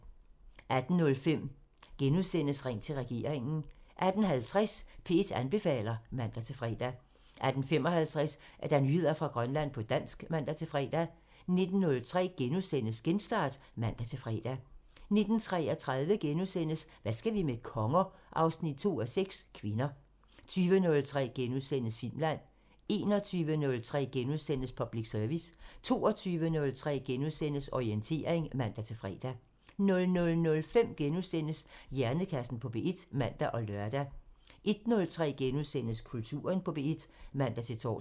18:05: Ring til regeringen *(man) 18:50: P1 anbefaler (man-fre) 18:55: Nyheder fra Grønland på dansk (man-fre) 19:03: Genstart *(man-fre) 19:33: Hvad skal vi med konger? 2:6 – Kvinder * 20:03: Filmland *(man) 21:03: Public Service *(man) 22:03: Orientering *(man-fre) 00:05: Hjernekassen på P1 *(man og lør) 01:03: Kulturen på P1 *(man-tor)